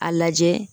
A lajɛ